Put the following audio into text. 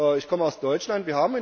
Ich komme aus Deutschland.